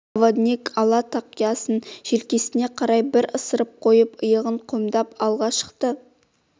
проводник ала тақиясын желкесіне қарай бір ысырып қойып иығын қомдап алға шықты